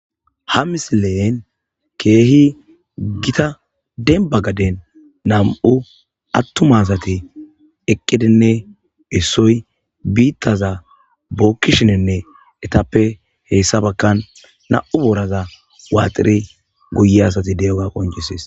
Ha misilen keehi gita denba gaden nam7u attumasati eqqidinne issoy biittaza bookkishinenne etappe heessa bakkan nam7u booraza waaxiri guye asati de7oga qonjisis